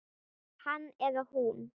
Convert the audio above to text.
Hann eða hún